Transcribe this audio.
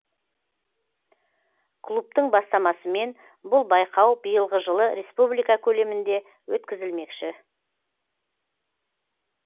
клубтың бастамасымен бұл байқау биылғы жылы республика көлемінде өткізілмекші